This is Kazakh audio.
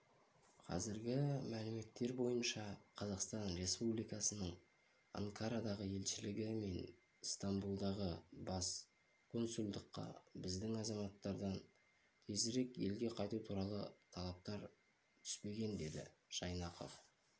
қазіргі мәліметтер бойынша қазақстан республикасының анкарадағы елшілігі мен стамбулдағы бас консулдыққа біздің азаматтардан тезірек елге қайту туралы талаптар түспеген деді жайнақов